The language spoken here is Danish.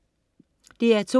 DR2: